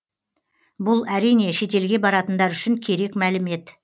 бұл әрине шетелге баратындар үшін керек мәлімет